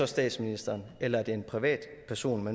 statsministeren eller en privatperson